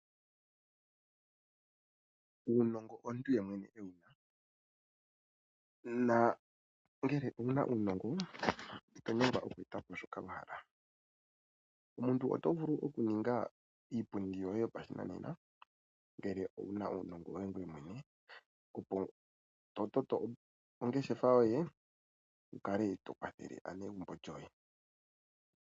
Uunongo omuntu ye mwene e wu na. Nongele owu na uunongo ito nyengwa oku eta po shoka wa hala. Omuntu oto vulu oku eta po iipundi yoye yoshinanena ngele owu na uunongo woye ngoye mwne, e to toto ongeshefa yoye wu kale to kwathele aanegumbo lyoye.